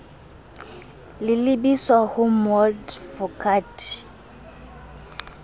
le lebiswa ho moadvokate j